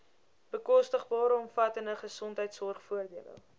bekostigbare omvattende gesondheidsorgvoordele